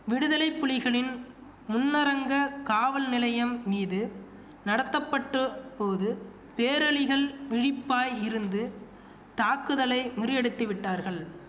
விடுதலை புலிகளின் முன்னரங்க காவல் நிலையம் மீது நடத்தப்பட்ட போது பேரளிகள் விழிப்பாய் இருந்து தாக்குதலை முறியடித்து விட்டார்கள்